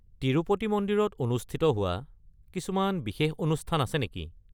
তিৰুপতি মন্দিৰত অনুষ্ঠিত হোৱা কিছুমান বিশেষ অনুষ্ঠান আছে নেকি?